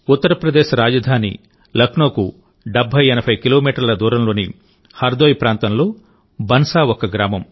ఉత్తరప్రదేశ్ రాజధాని లక్నోకు 7080 కిలోమీటర్ల దూరంలోని హర్దోయ్ ప్రాంతంలో బన్సా ఒక గ్రామం